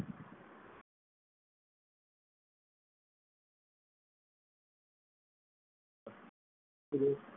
gross